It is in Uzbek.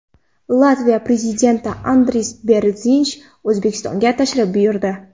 Latviya Prezidenti Andris Berzinsh O‘zbekistonga tashrif buyurdi.